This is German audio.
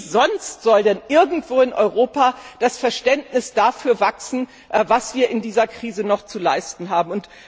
Wie sonst soll denn irgendwo in Europa das Verständnis dafür wachsen, was wir in dieser Krise noch zu leisten haben?